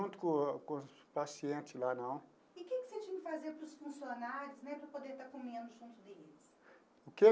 com o com os paciente lá não. E que que você tinha que fazer para os funcionários né, para poder estar comendo junto deles? O que?